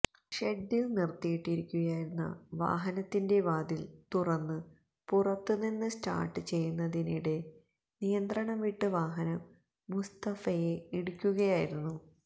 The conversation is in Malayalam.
ഷെഡില് നിര്ത്തിയിട്ടിരിക്കുകയായിരുന്ന വാഹനത്തിന്റെ വാതില് തുറന്ന് പുറത്തുനിന്ന് സ്റ്റാര്ട്ട് ചെയ്യുന്നതിനിടെ നിയന്ത്രണം വിട്ട് വാഹനം മുസ്തഫയെ ഇടിക്കുകയായിരുന്നു